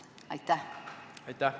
Aitäh!